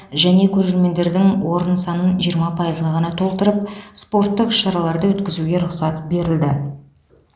және көрермендердің орын санын жиырма пайызға ғана толтырып спорттық іс шараларды өткізуге рұқсат берілді